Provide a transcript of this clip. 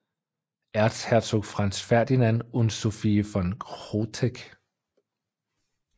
Erzherzog Franz Ferdinand und Sophie von Chotek